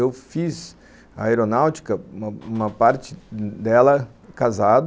Eu fiz a aeronáutica, uma uma parte dela casado.